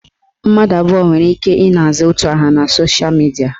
Mmadụ abụọ nwere ike ị na-aza otu aha na sosha midia